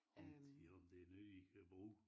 Om de om det noget de kan bruge